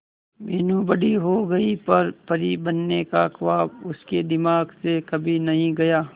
मीनू बड़ी हो गई पर परी बनने का ख्वाब उसके दिमाग से कभी नहीं गया